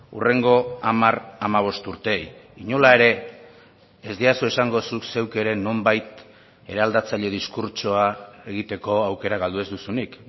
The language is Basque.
hurrengo hamar hamabost urteei inola ere ez didazu esango zuk zeuk ere nonbait eraldatzaile diskurtsoa egiteko aukera galdu ez duzunik